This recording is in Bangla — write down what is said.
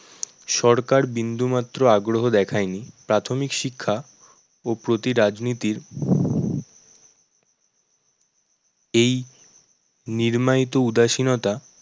সরকার বিন্দুমাত্র আগ্রহ দেখাইনি। প্রাথমিক শিক্ষা ও প্রতি রাজনীতির এই নির্মায়িত উদাসীনতা